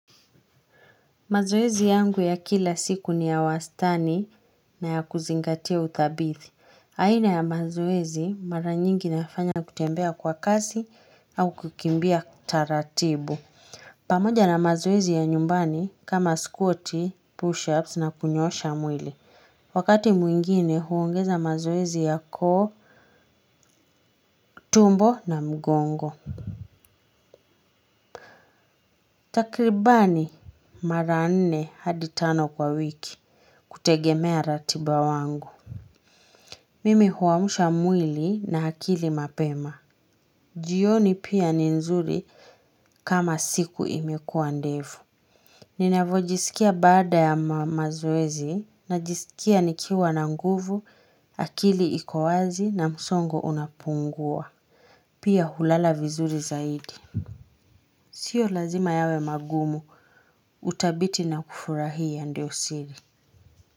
Mazoezi yangu ya kila siku ni ya wastani na ya kuzingatia utabithi. Aina ya mazoezi mara nyingi nafanya kutembea kwa kasi au kukimbia taratibu. Pamoja na mazoezi ya nyumbani kama squat pushups na kunyoosha mwili. Wakati mwingine huongeza mazoezi ya koo tumbo na mgongo. Takribani mara nne hadi tano kwa wiki kutegemea ratiba wangu. Mimi huamsha mwili na akili mapema. Jioni pia ni nzuri kama siku imekuwa ndefu. Ninavo jisikia baada ya mazoezi najisikia nikiwa na nguvu, akili iko wazi na msongo unapungua. Pia hulala vizuri zaidi. Sio lazima yawe magumu, utabiti na kufurahia ndio siri.